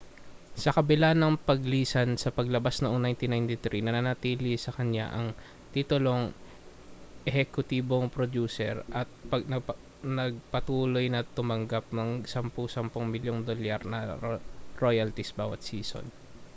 sa kabila ng paglisan sa palabas noong 1993 nanatili sa kaniya ang titulong ehekutibong prodyuser at nagpatuloy na tumanggap ng sampu-sampung milyong dolyar na royalties bawa't season